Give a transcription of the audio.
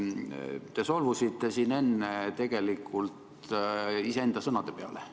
Te solvusite siin enne tegelikult iseenda sõnade peale.